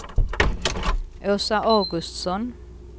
Åsa Augustsson